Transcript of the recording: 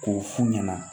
K'o f'u ɲɛna